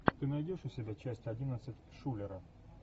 ты найдешь у себя часть одиннадцать шулера